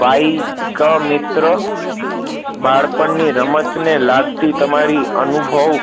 Bike મિત્ર બાળપણની રમતને લાગતી તમારી અનુભવ